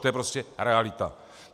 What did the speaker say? To je prostě realita.